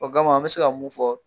O kama an bɛ se ka mun fɔ